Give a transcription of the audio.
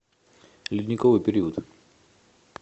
ледниковый период